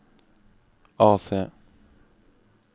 AC